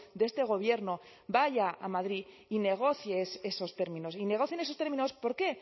de este gobierno vaya a madrid y negocie esos términos y negocien esos términos por qué